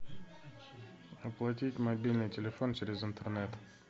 оплатить мобильный телефон через интернет